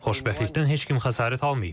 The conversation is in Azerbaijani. Xoşbəxtlikdən heç kim xəsarət almayıb.